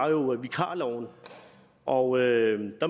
vikarloven og jeg